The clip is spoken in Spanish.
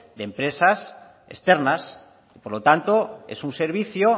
de empresas externas por lo tanto es un servicio